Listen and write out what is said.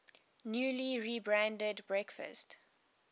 newly rebranded breakfast